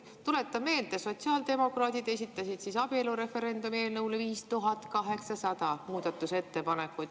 Tuletan meelde, et sotsiaaldemokraadid esitasid abielureferendumi eelnõule 5800 muudatusettepanekut.